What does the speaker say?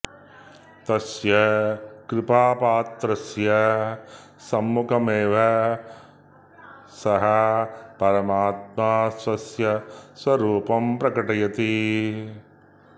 तस्य कृपापात्रस्य सम्मुखमेव सः परमात्मा स्वस्य स्वरूपं प्रकटयति